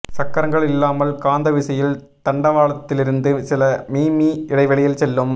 சக்கரங்கள் இல்லாமல் காந்த விசையில் தண்டவாளத்திலிருந்து சில மிமீ இடைவெளியில் செல்லும்